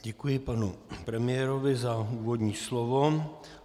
Děkuji panu premiérovi za úvodní slovo.